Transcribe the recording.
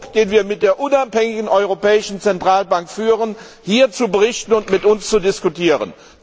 den wir mit der unabhängigen Europäischen Zentralbank führen, hier zu berichten und mit uns zu diskutieren.